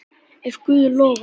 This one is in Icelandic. Ef Guð lofar.